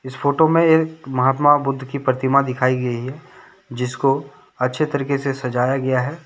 इस फोटो मे एक महात्मा बुद्ध की प्रतिमा दिखाई गई है जिसको अच्छे तरीके से सजाया गया है ।